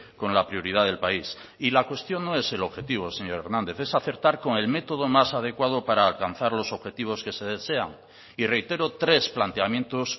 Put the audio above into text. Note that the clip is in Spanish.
con la prioridad del país y la cuestión no es el objetivo señor hernández es acertar con el método más adecuado para alcanzar los objetivos que se desean y reitero tres planteamientos